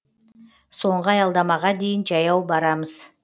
соңғы аялдамаға дейін жаяу барамыз